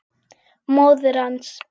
Móðir hans